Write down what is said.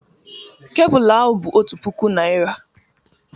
Kebụlụ ahụ bụ otu puku naira